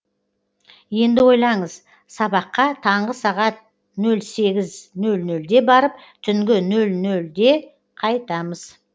енді ойлаңыз сабаққа таңғы сағат нөл сегіз нөл нөлде барып түнгі нөл нөлде қайтамыз